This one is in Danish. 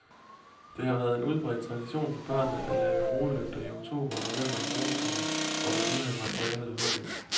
Det har været en udbredt tradition for børnene at lave roelygter i oktober og november i roetiden, hvor man lige havde materialet ved hånden.